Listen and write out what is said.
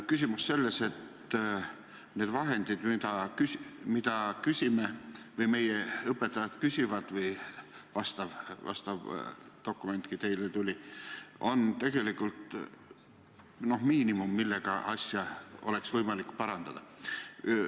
Küsimus on selles, et need vahendid, mida meie õpetajad küsivad – selline dokumentki on teile tulnud –, ongi tegelikult miinimum, millega asja oleks võimalik parandada.